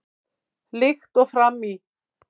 Líkt og fram í